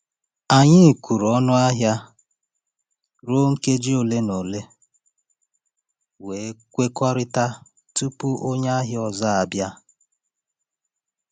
Anyị kwụrụ ọnụ ahịa ruo nkeji ole na ole, wee kwekọrịta tupu onye ahịa ọzọ abịa.